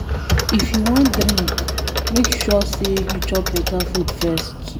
If you wan drink, make sure say you chop beta food first.